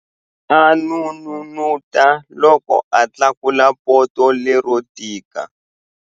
A n'unun'uta loko a tlakula poto lero tika.